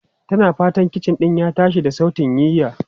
Tana fatan kicin din ya tashi da sautin yiya.